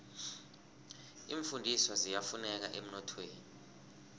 iimfundiswa ziyafuneka emnothweni